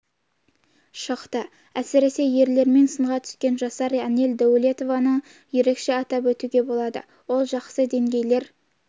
шықты әсіресе ерлермен сынға түскен жасар анель дәулетованы ерекше атап өтуге болады ол жасқа дейінгілер